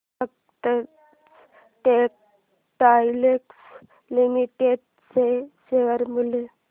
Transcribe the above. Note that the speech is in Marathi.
सतलज टेक्सटाइल्स लिमिटेड चे शेअर मूल्य